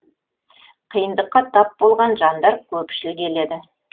қиындыққа тап болған жандар көпшіл келеді